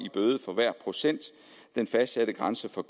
bøde for hver procent den fastsatte grænse for